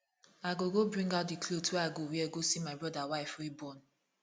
i go go bring out the cloth wey i go wear go see my broda wife wey born